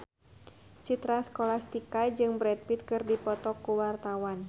Citra Scholastika jeung Brad Pitt keur dipoto ku wartawan